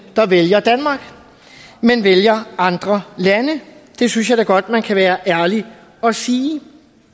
der vælger danmark men vælger andre lande det synes jeg da godt man kan være ærlig og sige